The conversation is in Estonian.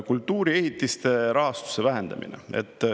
Kultuuriehitiste rahastuse vähendamine.